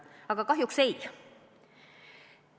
Aga kahjuks seda ei juhtunud.